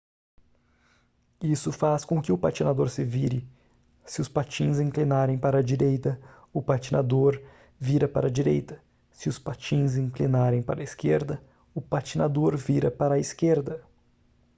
isso faz com que o patinador vire se os patins inclinarem para a direita o patinador vira para a direita se os patins inclinarem para a esquerda o patinador vira para a esquerda